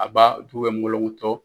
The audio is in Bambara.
A b'a du bɛ mɔlɔkɔntɔ.